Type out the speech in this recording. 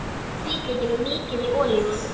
Merjið hvítlaukinn og mýkið í olíunni.